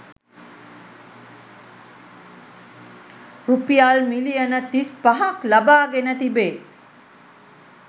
රුපියල් මිලියන තිස්පහක් ලබාගෙන තිබේ